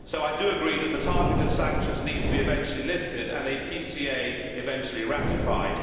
I therefore do agree that the targeted sanctions need to be eventually lifted and a PCA eventually ratified.